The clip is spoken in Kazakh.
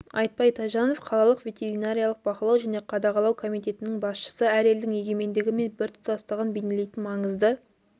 айтбай тайжанов қалалық ветеринариялық бақылау және қадағалау комитетінің басшысы әр елдің егемендігі мен біртұтастығын бейнелейтін маңызды